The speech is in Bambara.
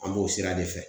An b'o sira de fɛ